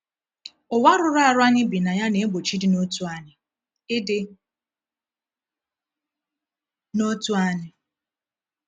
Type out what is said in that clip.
Ụwa rụrụ arụ anyị bi na ya na-egbochi ịdị n’otu anyị. ịdị n’otu anyị.